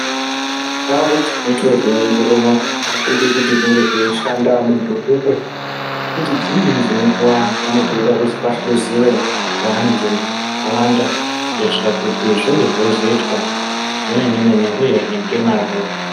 Ndau dzinoite zvekuongirora adzidi kuti pashandwe ngemuntu umwe kuti dzimwe dzenguwa panenge peidiwa kuti pahluziwe ngeantu akawanda kuitira kuti zvinge zveizoitwa zvemene mene uyehe ngemazvo.